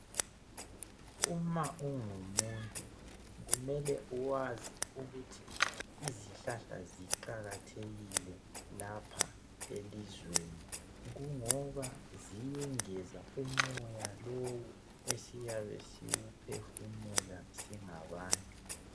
Uma ungumuntu kumele uwazi ukuthi izihlahla ziqakathekile lapha elizweni kungoba ziyengeza umoya lowu esiyabe siwuphefumula singabantu